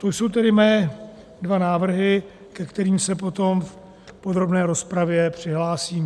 To jsou tedy mé dva návrhy, ke kterým se potom v podrobné rozpravě přihlásím.